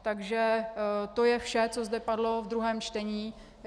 Takže to je vše, co zde padlo v druhém čtení.